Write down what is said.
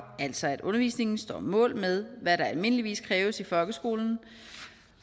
altså at undervisningen står mål med hvad der almindeligvis kræves i folkeskolen